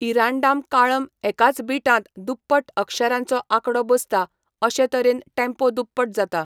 इरांडाम काळम एकाच बीटांत दुप्पट अक्षरांचो आंकडो बसता, अशे तरेन टेम्पो दुप्पट जाता.